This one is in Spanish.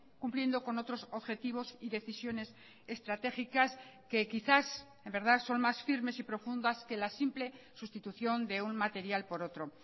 cumpliendo con otros objetivos y decisiones estratégicas que quizás en verdad son más firmes y profundas que la simple sustitución de un material por otro